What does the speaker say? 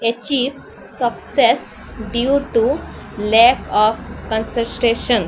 ଏଚିବ୍ସ୍ success due to lack of concentration.